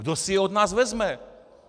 Kdo si je od nás vezme?